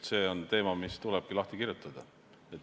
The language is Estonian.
See on teema, mis tuleb lahti kirjutada.